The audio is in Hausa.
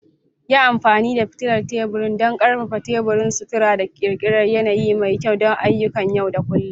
Yi amfani da fitilar tebur don ƙarfafa teburin sutura da ƙirƙirar yanayi mai kyau don ayyukan yau da kullun.